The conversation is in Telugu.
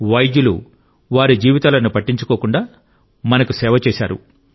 వైద్యులు వారి జీవితాలను పట్టించుకోకుండా మనకు సేవ చేశారు